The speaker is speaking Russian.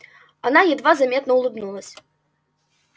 она едва заметно улыбнулась